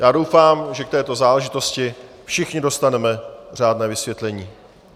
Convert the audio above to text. Já doufám, že k této záležitosti všichni dostaneme řádné vysvětlení.